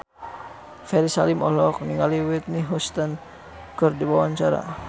Ferry Salim olohok ningali Whitney Houston keur diwawancara